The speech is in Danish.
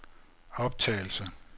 optagelse